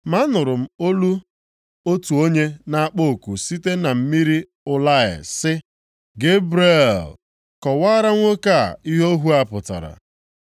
Ma anụrụ m olu otu onye na-akpọ oku site na mmiri Ulai sị, “Gebrel, kọwaara nwoke a ihe ọhụ a pụtara.”